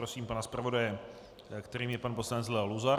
Prosím pana zpravodaje, kterým je pan poslanec Leo Luzar.